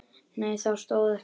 Nei það stóð ekki til.